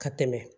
Ka tɛmɛ